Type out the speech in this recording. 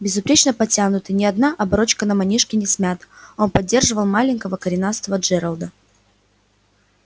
безупречно подтянутый ни одна оборочка на манишке не смята он поддерживал маленького коренастого джералда